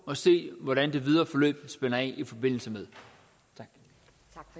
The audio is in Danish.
og se hvordan det videre forløb spænder af i forbindelse med